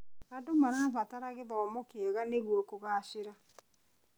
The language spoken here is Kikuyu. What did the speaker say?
Andũ marabatara gĩthomo kĩega nĩguo kũgacĩra.